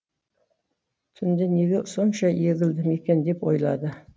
түнде неге сонша егілдім екен деп ойлады